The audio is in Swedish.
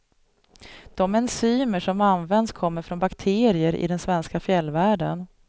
De enzymer som används kommer från bakterier i den svenska fjällvärlden.